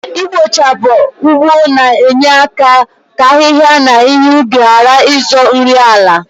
Ikpochapụ ụgbọ na enye aka ka ahịhịa na ihe ubi gharị ịzọ nri ala